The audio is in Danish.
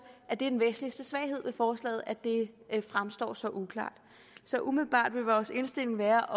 at det er den væsentligste svaghed med forslaget at det fremstår så uklart så umiddelbart vil vores indstilling være